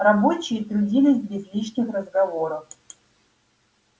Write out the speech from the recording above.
рабочие трудились без лишних разговоров